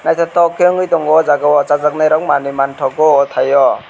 naitotok ke wngoi tango o jago o chajak nai rok manui mangtago o tai o.